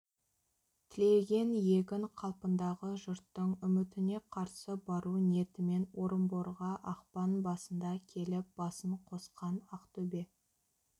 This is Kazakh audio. тілеген егін қалпындағы жұрттың үмітіне қарсы бару ниетімен орынборға ақпан басында келіп басын қосқан ақтөбе